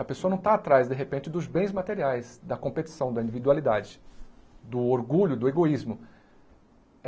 A pessoa não está atrás, de repente, dos bens materiais, da competição, da individualidade, do orgulho, do egoísmo.